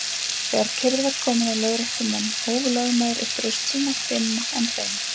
Þegar kyrrð var komin á lögréttumenn hóf lögmaður upp raust sína dimma en hreina.